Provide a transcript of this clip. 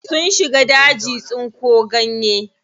Sun shiga daji tsinko ganye.